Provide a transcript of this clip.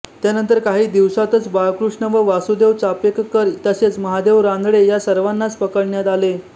त्यानंतर काही दिवसातच बाळकृष्ण व वासुदेव चापेककर तसेच महादेव रानडे या सर्वांनाच पकडण्यात आले